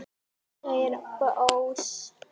sagði Bóas.